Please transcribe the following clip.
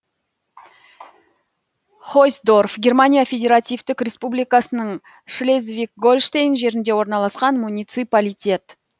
хойсдорф германия федеративтік республикасының шлезвиг гольштейн жерінде орналасқан муниципалитет